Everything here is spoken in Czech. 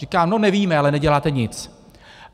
Říká: no nevíme, ale neděláte nic.